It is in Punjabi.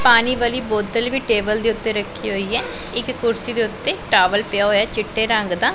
ਪਾਨੀ ਵਾਲੀ ਬੋਤਲ ਵੀ ਟੇਬਲ ਦੇ ਓੱਤੇ ਰੱਖੀ ਹੋਈਏ ਇੱਕ ਕੁਰਸੀ ਦੇ ਓੱਤੇ ਟਾਵਲ ਪਿਆ ਹੋਇਆ ਚਿੱਟੇ ਰੰਗ ਦਾ।